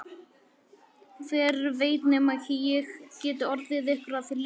Hver veit nema ég geti orðið ykkur að liði.